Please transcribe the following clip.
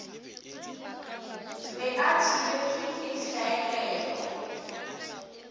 be a thibetšwe ke hlaelelo